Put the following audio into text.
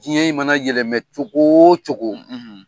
Diɲɛ in mana yɛlɛmɛ cogo o cogo,